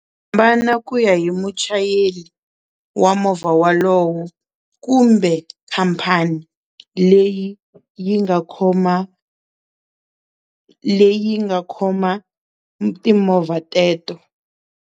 Va na ku ya hi muchayeli wa movha wolowo kumbe khampani leyi yi nga khoma leyi nga khoma timovha teto.